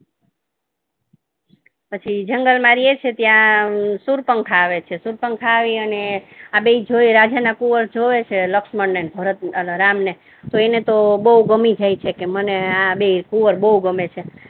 પછી જંગલ માં રહે છે ત્યા શૂર્પણખા આવે છે શૂર્પણખા આવી અને આ બે જોઈ રાજા ના કુંવર જોય છે લક્ષ્મણ ને અને રામ ને તો એને તો બહુ ગમી જાય છે કે મને આ બે કુંવર બહુ ગમે છે